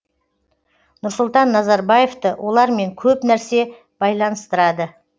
нұрсұлтан назарбаевты олармен көп нәрсе байланыстырады